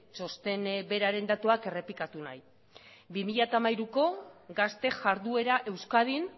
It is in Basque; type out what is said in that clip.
txosten beraren datuak errepikatu nahi bi mila hamairuko gazte jarduera euskadin